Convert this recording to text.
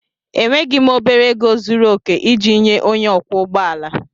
Enweghị m obere ego zuru oke iji nye onye ọkwọ ụgbọ ala.